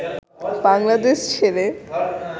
বাংলাদেশ ছেড়ে